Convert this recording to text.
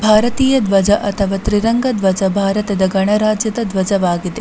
ಭಾರತೀಯ ಧ್ವಜ ಅಥವಾ ತ್ರಿರಂಗ ಧ್ವಜ ಭಾರತದ ಗಣರಾಜ್ಯದ ಧ್ವಜವಾಗಿದೆ .